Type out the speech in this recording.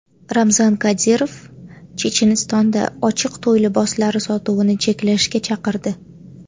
Ramzan Qodirov Chechenistonda ochiq to‘y liboslari sotuvini cheklashga chaqirdi.